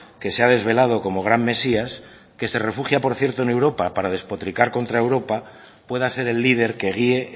que se ha desvelado como gran mesías que se refugia por cierto en europa para despotricar contra europa pueda ser el líder que guie